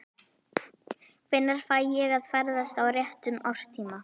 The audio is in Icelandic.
Hvenær fæ ég að ferðast á réttum árstíma?